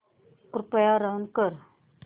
कृपया रन कर